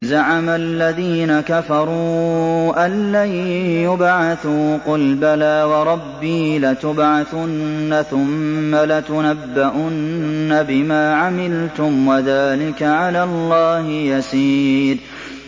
زَعَمَ الَّذِينَ كَفَرُوا أَن لَّن يُبْعَثُوا ۚ قُلْ بَلَىٰ وَرَبِّي لَتُبْعَثُنَّ ثُمَّ لَتُنَبَّؤُنَّ بِمَا عَمِلْتُمْ ۚ وَذَٰلِكَ عَلَى اللَّهِ يَسِيرٌ